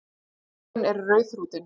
Augun eru rauðþrútin.